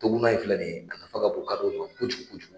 Toguna in filɛ nin ye a nafa ka bon kadɔw ma kojugu.